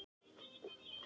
Ertu að boða bók?